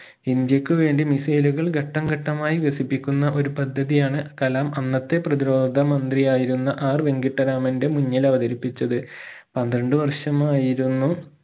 ഇന്ത്യക്കു വേണ്ടി missile ഉകൾ ഘട്ടംഘട്ടമായി വികസിപ്പിക്കുന്ന ഒരു പദ്ധതി യാണ് കലാം അന്നത്തെ പ്രതിരോധ മന്ത്രിയായിരുന്ന R വെങ്കിട്ടരാമന്റെ മുന്നിലവതരിപ്പിച്ചത് പന്ത്രണ്ട് വർഷമായിരുന്നു